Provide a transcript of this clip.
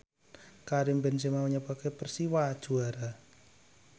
Karim Benzema nyebabke Persiwa juara